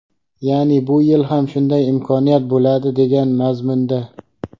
ya’ni bu yil ham shunday imkoniyat bo‘ladi degan mazmunda.